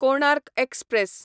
Konark express